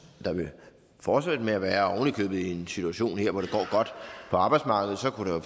der vil fortsætte med at være og oven i købet i en situation her hvor det går godt på arbejdsmarkedet kunne der